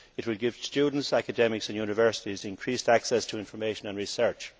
It will give students, academics and universities increased access to information and research.